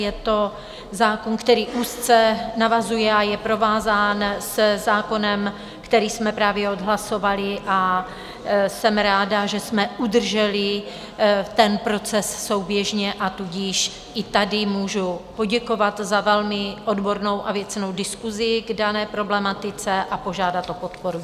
Je to zákon, který úzce navazuje a je provázán se zákonem, který jsme právě odhlasovali, a jsem ráda, že jsme udrželi ten proces souběžně, a tudíž i tady můžu poděkovat za velmi odbornou a věcnou diskusi k dané problematice a požádat o podporu.